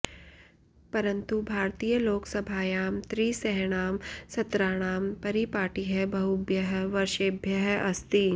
परन्तु भारतीयलोकसभायां त्रिसॄणां सत्राणां परिपाटिः बहुभ्यः वर्षेभ्यः अस्ति